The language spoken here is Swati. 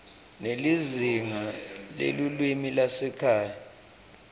nelizingaa lelulwimi lwasekhaya